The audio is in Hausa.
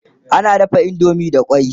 ana dafa indomie da kwai